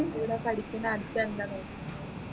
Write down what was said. എടേ പഠിക്കുന്നെ അടുതെന്താ നോക്കുന്നെ